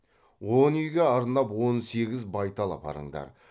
он үйге арнап он сегіз байтал апарыңдар